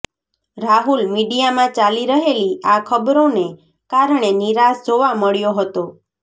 રાહુલ મીડિયામાં ચાલી રહેલી આ ખબરોને કારણે નિરાશ જોવા મળ્યો હતો